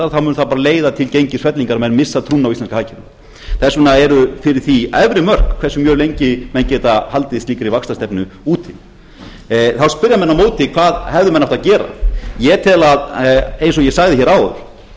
staðar þá mun það bara leiða til gengisfellingar og menn missa trúna á íslenskt hagkerfi þess vegna eru fyrir því efri mörk hversu mjög lengi menn geta haldið slíkri vaxtastefnu úti þá spyrja menn á móti hvað hefðu menn átt að gera ég tel eins og ég sagði hér áðan